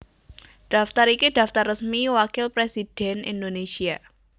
Daftar iki daftar resmi Wakil Presidhèn Indonésia